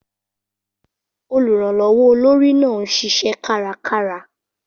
Olùrànlọ́wọ́ olórí náà ń ṣiṣẹ́ kárakára.